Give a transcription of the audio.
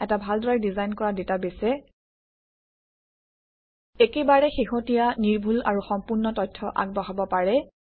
এটা ভালদৰে ডিজাইন কৰা ডাটাবেছে একেবাৰে শেহতীয়া নিৰ্ভুল আৰু সম্পূৰ্ণ তথ্য আগবঢ়াব পাৰে